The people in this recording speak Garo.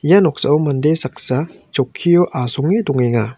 ia noksao mande saksa chokkio asonge dongenga.